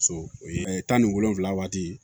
So o ye tan ni wolonfila waati